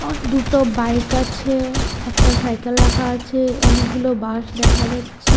দুটো বাইক আছে একটা সাইকেল রাখা আছে অনেকগুলো বাঁশ দেখা যাচ্ছে।